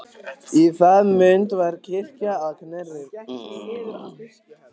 Í það mund var kirkja að Knerri.